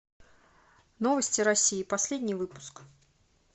новости россии последний выпуск